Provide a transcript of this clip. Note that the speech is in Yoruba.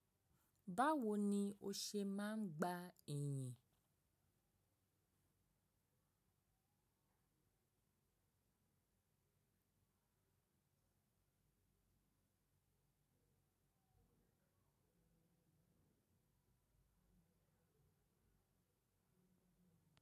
Báwo ni o ṣe máa ń gba ẹ̀yìn?